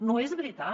no és veritat